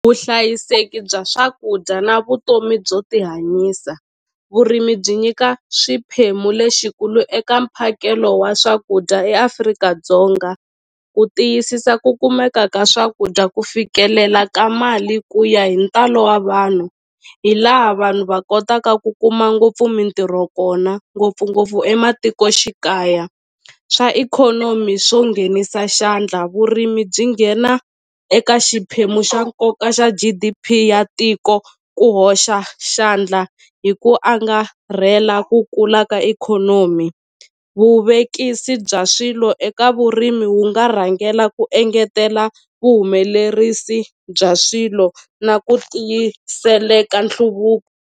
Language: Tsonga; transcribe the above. Vuhlayiseki bya swakudya na vutomi byo tihanyisa vurimi byi nyika swiphemu lexikulu eka mphakelo wa swakudya eAfrika-Dzonga ku tiyisisa ku kumeka ka swakudya ku fikelela ka mali ku ya hi ntalo wa vanhu hi laha vanhu va kotaka ku kuma ngopfu mintirho kona ngopfungopfu ematikoxikaya swa ikhonomi swo nghenisa xandla vurimi byi nghena eka xiphemu xa nkoka xa G_D_P ya tiko ku hoxa xandla hi ku angarhela ku kula ka ikhonomi vuvekisi bya swilo eka vurimi wu nga rhangela ku engetela vuhumelerisi bya swilo na ku tiyiseleka .